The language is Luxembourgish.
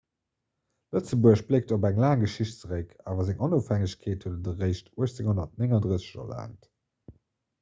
lëtzebuerg bléckt op eng laang geschicht zeréck awer seng onofhängegkeet huet et eréischt 1839 erlaangt